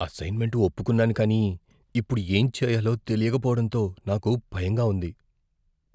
Assignment ఒప్పుకున్నాను కానీ ఇప్పుడు ఏం చేయాలో తెలియక పోవడంతో నాకు భయంగా ఉంది.